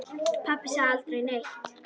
Pabbi sagði aldrei neitt.